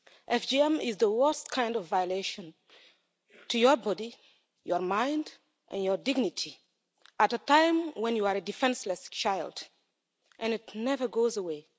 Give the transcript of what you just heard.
FGM is the worst kind of violation to your body, your mind and your dignity at a time when you are a defenceless child, and it never goes away.